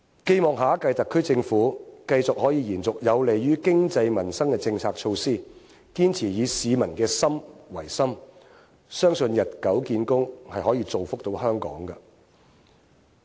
寄望下一屆特區政府繼續可以延續有利於經濟民生的政策措拖，堅持以市民的心為心，相信日久見功，是可以造福到香港的。